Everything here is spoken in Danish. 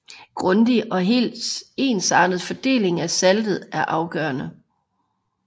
Grundig og helt ensartet fordeling af saltet er afgørende